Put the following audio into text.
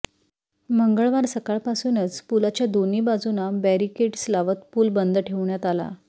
मंगळवार सकाळपासूनच पुलाच्या दोन्ही बाजूंना बॅरीकेड्स लावत पूल बंद ठेवण्यात आला